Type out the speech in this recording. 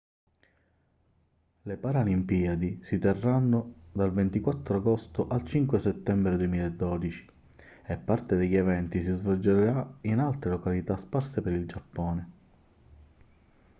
le paralimpiadi si terranno dal 24 agosto al 5 settembre 2012 e parte degli eventi si svolgerà in altre località sparse per il giappone